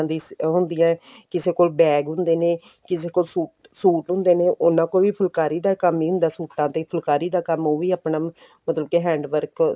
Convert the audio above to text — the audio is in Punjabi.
ਦੀ ਉਹ ਹੁੰਦੀ ਏ ਕਿਸੇ ਕੋਲ bag ਹੁੰਦੇ ਨੇ ਕਿਸੇ ਕੋਲ ਸੂਟ ਸੂਟ ਹੁੰਦੇ ਨੇ ਉਹਨਾ ਕੋਲ ਵੀ ਫੁੱਲਕਾਰੀ ਦਾ ਕੰਮ ਹੀ ਹੁੰਦਾ ਸੂਟਾਂ ਤੇ ਫੁੱਲਕਾਰੀ ਦਾ ਕੰਮ ਉਹ ਵੀ ਆਪਣਾ ਮਤਲਬ ਕੇ hand work